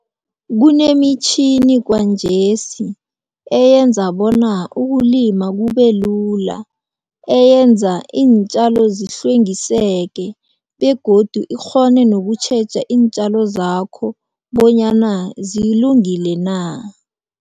Kunemitjhini kwanjesi eyenza bona ukulima kubelula, eyenza iintjalo zihlwengiseke begodu ikghone nokutjheja iintjalo zakho bonyana zilungile na.